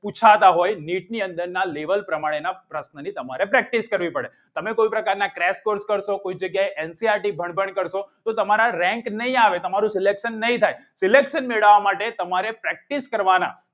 પૂછાતા હોય નીની અંદરના લેવલ પ્રમાણે ના પ્રશ્નો ની તમારે practice કરવી પડે તમારે કોઈ પ્રકારના ક્રેસ corse કરો છો કોઈ જગ્યાએ એનસીઆરટી પણ પણ કરશો તો તમારે rank નહીં આવે તમારું silection નહીં થાય silection મેળવવા માટે તમારે practice કરવાના